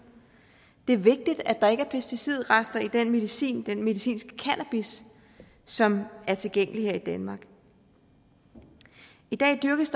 det er vigtigt at der ikke er pesticidrester i den medicinske medicinske cannabis som er tilgængelig her i danmark i dag dyrkes